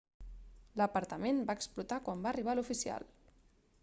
l'apartament va explotar quan va arribar l'oficial